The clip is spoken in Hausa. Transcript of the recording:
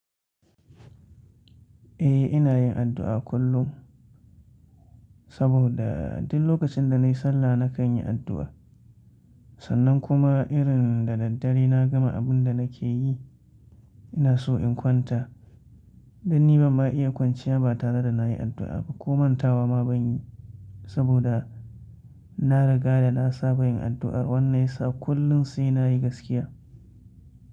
Eh, ina yin addu'a kullum, saboda duk lokacin da nayi sallah nakan yi addu'a. Sannan kuma irin da daddare na gama abun da nake yi, ina so in kwanta. Dan ni ban ma iya kwanciya ba tare da nayi addu'a ba. Koman tawa ma ban yi, saboda na riga da na saba yin addu'ar wannan yasa kullum sai nayi gaskiya.